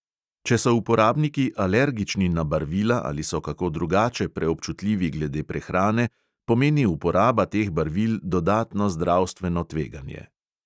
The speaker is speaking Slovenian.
Če so uporabniki alergični na barvila ali so kako drugače preobčutljivi glede prehrane, pomeni uporaba teh barvil dodatno zdravstveno tveganje.